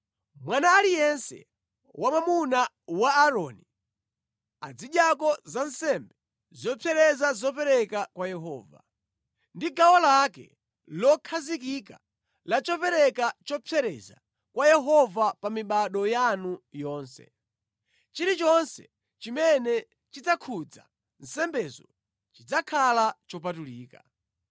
Mwana aliyense wamwamuna wa Aaroni azidyako za nsembe zopsereza zopereka kwa Yehova. Ndi gawo lake lokhazikika la chopereka chopsereza kwa Yehova pa mibado yanu yonse. Chilichonse chimene chidzakhudza nsembezo chidzakhala chopatulika.’ ”